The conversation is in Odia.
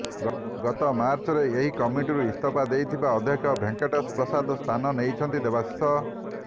ଗତ ମାର୍ଚ୍ଚରେ ଏହି କମିଟିରୁ ଇସ୍ତଫା ଦେଇଥିବା ଅଧ୍ୟକ୍ଷ ଭେଙ୍କଟେଶ ପ୍ରସାଦଙ୍କ ସ୍ଥାନ ନେଇଛନ୍ତି ଦେବାଶିଷ